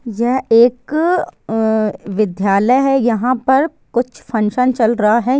ये एक विद्यालय है यहाँ पर कुछ फंक्शन चल रहा है।